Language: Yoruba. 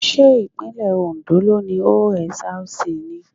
Ṣé ìpínlẹ̀ Ondo ló ni OSRC ni?